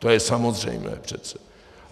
To je samozřejmé přece.